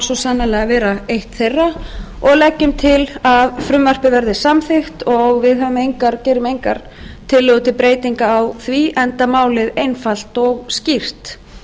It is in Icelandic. svo sannarlega vera eitt þeirra og leggjum til að frumvarpið verði samþykkt og við gerum engar tillögur til breytinga á því enda málið einfalt og skýrt